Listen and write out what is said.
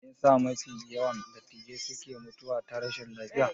Meyasa mafi yawan dattijai suke mutuwa ta rashi lafiya?